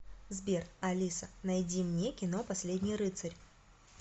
сбер алиса найди мне кино последний рыцарь